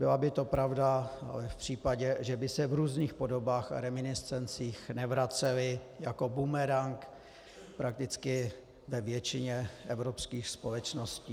Byla by to pravda, ale v případě, že by se v různých podobách a reminiscencích nevracely jako bumerang prakticky ve většině evropských společností.